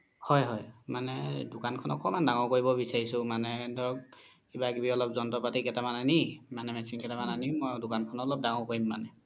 হয় হয় মানে দুকান খনেকে অকমান দাঙৰ কৰিব বিচাৰিছো মানে ধৰক কিবা কিবি অলপ যন্ত্ৰ পাতি কেইতা মান আনি মানে machine কেইতা মান আনি দুকান খনে অলপ দাঙৰ কৰিম মানে